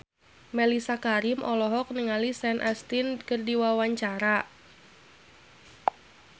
Mellisa Karim olohok ningali Sean Astin keur diwawancara